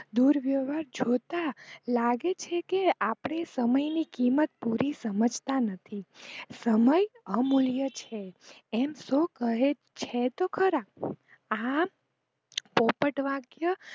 દુર્વ્યવહાર જોતા લાગે છે કે આપણે સમય ની કિંમત પુરી સમજતા નથી, સમય અમૂલ્ય છે એમ સૌ કહે છે તો ખરાઆ પોપટ વાક્ય